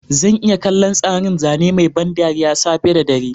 Zan iya kallon tsarin zane mai ban dariya safe da dare.